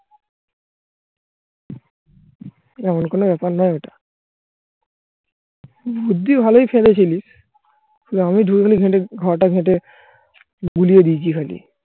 এমন কোনো ব্যাপার নয় ওটা. বুদ্ধি ভালোই খেলেছিলিস. আমি ধুয়ে ফেলি খেটে খাওয়াটা কেটে বুলিয়ে দিয়েছি খাটি